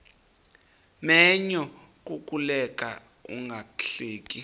menyo kukuleka ungahleki